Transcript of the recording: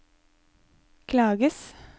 klages